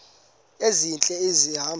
ezintle esi hamba